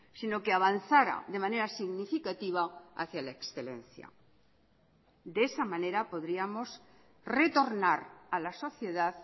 sino que avanzara de manera significativa hacia la excelencia de esa manera podríamos retornar a la sociedad